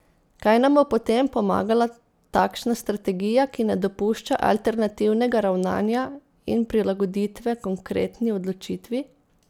Kaj nam bo potem pomagala takšna strategija, ki ne dopušča alternativnega ravnanja in prilagoditve konkretni odločitvi?